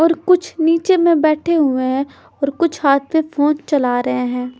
और कुछ नीचे में बैठे हुए हैं और कुछ हाथ में फोन चला रहे हैं।